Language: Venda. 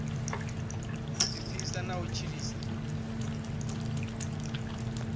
u ḓipfisa na u tshilisa